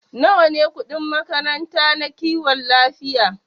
Nawa ne kudin makaranta na kiwon lafiya?